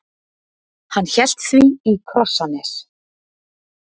Hann hélt því í Krossanes.